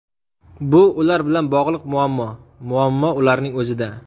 Bu ular bilan bog‘liq muammo, muammo ularning o‘zida”.